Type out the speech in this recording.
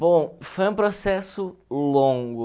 Bom, foi um processo longo.